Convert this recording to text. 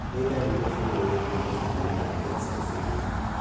Nĩ ndariri na cionereria irĩkũ cia mũrimũ wa Pearson syndrome?